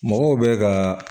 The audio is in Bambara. Mɔgɔw bɛ ka